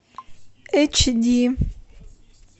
эйч ди